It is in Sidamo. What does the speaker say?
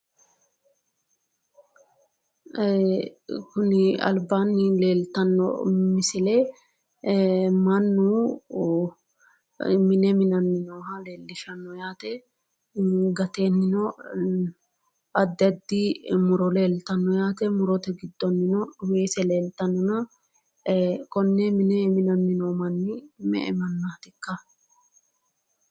Ee kuni albaanni leeltanno misile mannu mine mananni nooha Lee yaate. Gateennino addi addi muro leeltanno yaate. Murote giddonnino weese leeltannona konne mine minanni noo manni me"e mannaatikka?